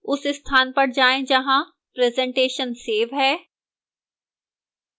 उस स्थान पर जाएं जहां presentation सेव है